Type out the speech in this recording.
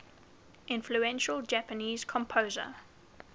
influential japanese composer